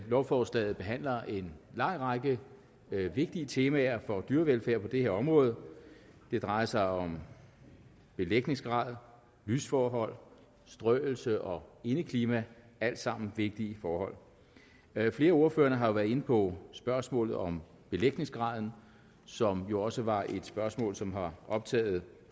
lovforslaget behandler en lang række vigtige temaer for dyrevelfærd på det her område det drejer sig om belægningsgrad lysforhold strøelse og indeklima alt sammen vigtige forhold flere af ordførerne har været inde på spørgsmålet om belægningsgraden som jo også var et spørgsmål som har optaget